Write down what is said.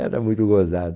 Era muito gozado.